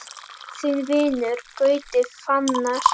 Þinn vinur, Gauti Fannar.